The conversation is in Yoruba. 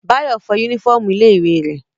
Báyọ̀ fọ yúnífọ̀mù ilé ìwé rẹ̀